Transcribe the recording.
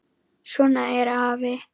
Svona er afi.